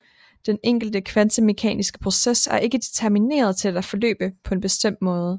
Den enkelte kvantemekaniske proces er ikke determineret til at forløbe på en bestemt måde